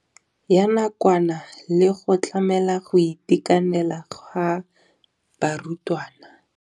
Ya nakwana le go tlamela go itekanela ga barutwana.